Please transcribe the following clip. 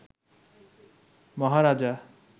মহারাজা